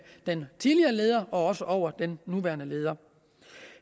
den tidligere leder og også over den nuværende leder